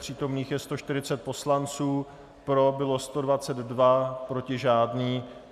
Přítomných je 140 poslanců, pro bylo 122, proti žádný.